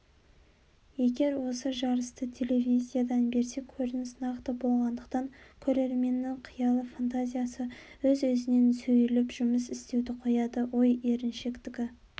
егер осы жарысты телевизиядан берсе көрініс нақты болғандықтан көрерменнің қиялы фантазиясы өз-өзінен сейіліп жұмыс істеуді қояды ой еріншектігі